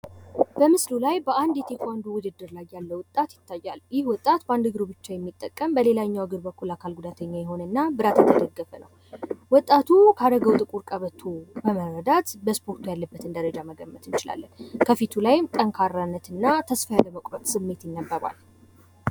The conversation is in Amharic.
በምስሉ ላይ በአንድ የቴኳንዶ ውድድር ላይ ያለ ወጣት ይታያል። ይህ ወጣት በ አንድ እግሩ ብቻ የሚጠቀም ፣ በሌላኛው እግሩ የአካል ጉዳተኛ የሆነና ብረት የተደገፈ ነው። ወጣቱ ካደረገው ጥቁር ቀበቶ በመረዳት በእስፖርቱ ያለበትን ደረጃ መገመት ይቻላል። ከፊቱ ላይም ጠንካራነትና ተስፋ ያለመቁረጥ ስሜት ይታያል።